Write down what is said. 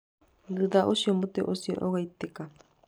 Thutha ũcio mũtĩ ũcio ũgaitĩka.